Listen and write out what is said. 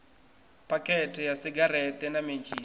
phakhethe ya segereṱe na mentshisi